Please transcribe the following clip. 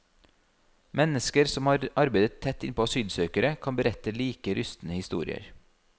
Mennesker som har arbeidet tett innpå asylsøkere kan berette like rystende historier.